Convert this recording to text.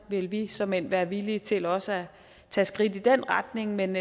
vil vi såmænd være villige til også at tage skridt i den retning men